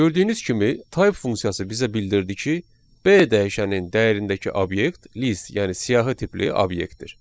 Gördüyünüz kimi type funksiyası bizə bildirdi ki, B dəyişəninin dəyərindəki obyekt list yəni siyahı tipli obyektdir.